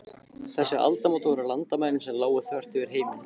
Þessi aldamót voru landamæri sem lágu þvert yfir heiminn.